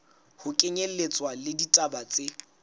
ho kenyelletswa le ditaba tse